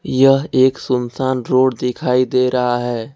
यह एक सुनसान रोड दिखाई दे रहा है।